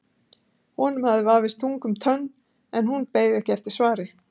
Honum vafðist tunga um tönn en hún beið ekki eftir svari.